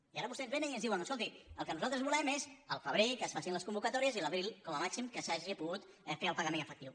i ara vostès vénen i ens diuen escolti el que nosaltres volem és al febrer que es facin les convocatòries i a l’abril com a màxim que s’hagi pogut fer el pagament efectiu